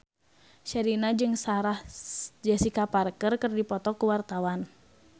Sherina jeung Sarah Jessica Parker keur dipoto ku wartawan